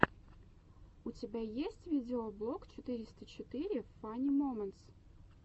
у тебя есть видеоблог четыреста четыре фани моментс